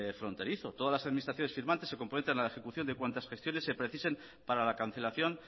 fronterizo todas las administraciones firmantes se comprometen a la ejecución de cuantas gestiones se precisen para la cancelación